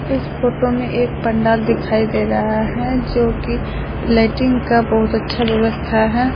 इस फोटो में एक पंडाल दिखाई दे रहा है जो कि लाइटिंग का बहुत अच्छा व्यवस्था है।